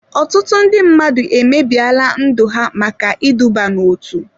Ọtụtụ ndị mmadụ emebiela ndụ ha maka iduba n'otu.